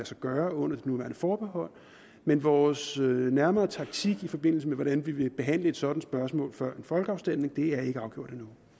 sig gøre under det nuværende forbehold men vores nærmere taktik i forbindelse med hvordan vi vil behandle et sådant spørgsmål før en folkeafstemning er ikke afgjort